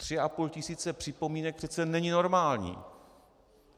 Tři a půl tisíce připomínek přece není normální.